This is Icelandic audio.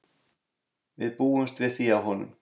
Við búumst við því af honum.